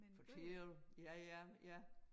Fortælle ja ja ja